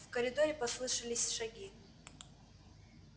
в коридоре послышались шаги